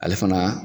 Ale fana